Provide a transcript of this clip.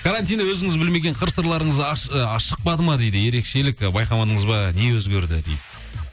карантинде өзіңіз білмеген қыр сырларыңыз ы шықпады ма дейді ерекшелік і байқадамадыңыз ба не өзгерді дейді